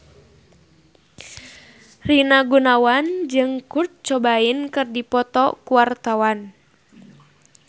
Rina Gunawan jeung Kurt Cobain keur dipoto ku wartawan